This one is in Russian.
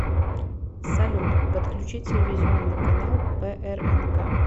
салют подключи телевизионный канал прнк